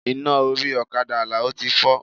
Iná orí ọ̀kadà Alao ti fọ́.